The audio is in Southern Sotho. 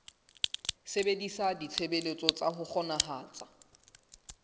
sebedisa ditshebeletso tsa ho kgonahatsa